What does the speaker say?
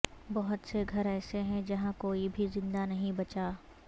بہت سے گھر ایسے ہیں جہاں کوئی بھی زندہ نہیں بچا